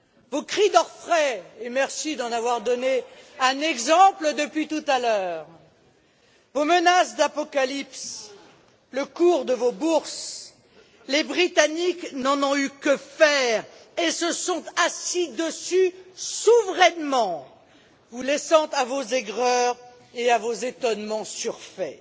Vos cris d'orfraie, et merci d'en avoir donné un exemple depuis tout à l'heure, vos menaces d'apocalypse, le cours de vos bourses, les Britanniques n'en ont eu que faire. Ils se sont assis dessus souverainement, vous laissant à vos aigreurs et à vos étonnements surfaits.